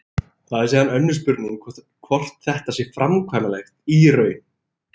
Það er síðan önnur spurning hvort þetta sé framkvæmanlegt í raun.